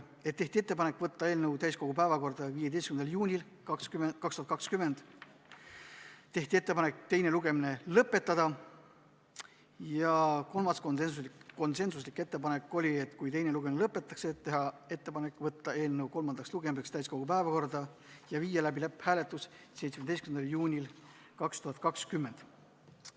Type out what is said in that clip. Tehti ettepanek võtta eelnõu täiskogu päevakorda 15. juunil 2020 ning teine lugemine lõpetada, ja kui teine lugemine lõpetatakse, siis teha ettepanek võtta eelnõu kolmandaks lugemiseks täiskogu päevakorda 17. juunil 2020 ja viia läbi lõpphääletus.